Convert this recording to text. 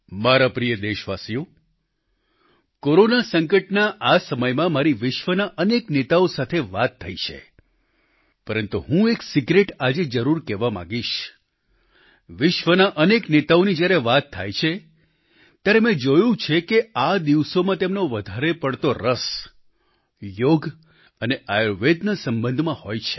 મારા પ્રિય દેશવાસીઓ કોરોના સંકટના આ સમયમાં મારી વિશ્વના અનેક નેતાઓ સાથે વાતચીત થઈ છે પરંતુ હું એક સિક્રેટ જરૂર આજે કહેવા માંગીશ વિશ્વના અનેક નેતાઓની જ્યારે વાત થાય છે ત્યારે મેં જોયું કે આ દિવસોમાં તેમનો વધારે પડતો રસ યોગ અને આયુર્વેદના સંબંધમાં હોય છે